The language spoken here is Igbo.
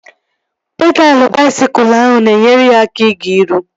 Pedalụ baisikụl ahụ na-enyere ya aka na-ịga iru